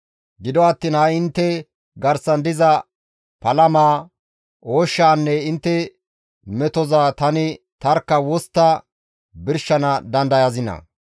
Gido attiin ha7i intte garsan diza palamaa, ooshshaanne intte metoza tani tarkka wostta birshana dandayazinaa?